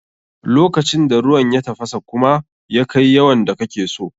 Lokacin da ruwan ya tafasa kuma ya kai yawan da kake so.